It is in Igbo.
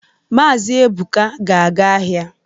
Maazi Ebuka ga-aga ahịa.